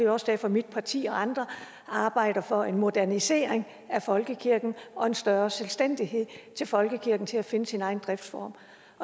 også derfor at mit parti og andre arbejder for en modernisering af folkekirken og en større selvstændighed til folkekirken til at finde sin egen driftsform